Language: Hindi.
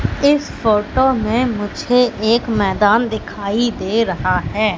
इस फोटो में मुझे एक मैदान दिखाई दे रहा है।